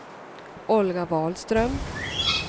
Olga Wahlström